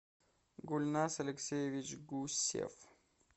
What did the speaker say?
гульназ алексеевич гусев